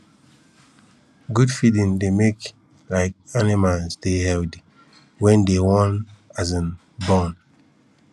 good feeding dey make um animals dey healthy wen dey wan um born